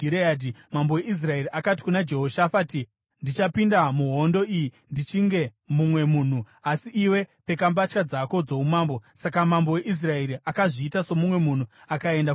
Mambo weIsraeri akati kuna Jehoshafati, “Ndichapinda muhondo iyi ndichinge mumwe munhu, asi iwe pfeka mbatya dzako dzoumambo.” Saka mambo weIsraeri akazviita somumwe munhu akaenda kundorwa.